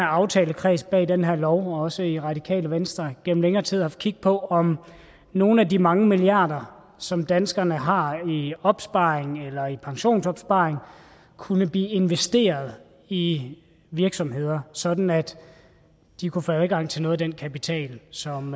aftalekredsen bag den her lov og også i radikale venstre gennem længere tid haft kig på om nogle af de mange milliarder som danskerne har i opsparing eller i pensionsopsparing kunne blive investeret i virksomheder sådan at de kunne få adgang til noget af den kapital som